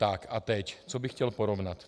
Tak a teď co bych chtěl porovnat.